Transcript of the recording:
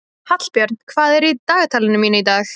Hallbjörn, hvað er í dagatalinu mínu í dag?